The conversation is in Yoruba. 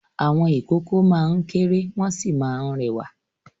Àwọn ìkókó máa ń kéré wọ́n sì máa ń rẹwà.